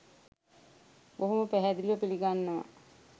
බොහොම පැහැදිලිව පිළිගන්නවා.